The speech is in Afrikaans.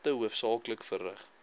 pligte hoofsaaklik verrig